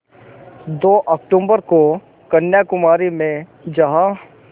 दो अक्तूबर को कन्याकुमारी में जहाँ